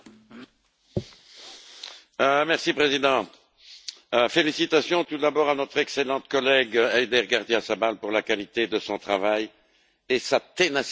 Monsieur le Président, félicitations tout d'abord à notre excellente collègue Eider Gardiazabal Rubial pour la qualité de son travail et sa ténacité dans les négociations.